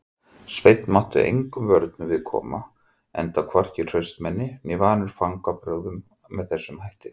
Sveinn mátti engum vörnum við koma enda hvorki hraustmenni né vanur fangbrögðum með þessum hætti.